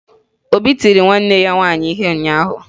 Obi tiri nwanne ya nwaanyị ihe ụnyaahụ.